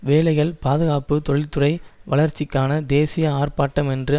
வேலைகள் பாதுகாப்பு தொழில்துறை வளர்ச்சிக்கான தேசிய ஆர்ப்பாட்டம் என்று